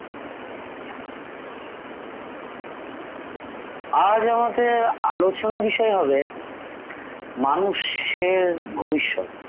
আজ আমাদের আলোচনা বিষয় হবে মানুষের ভবিষ্যৎ ।